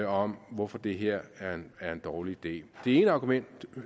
om hvorfor det her er en dårlig idé det ene argument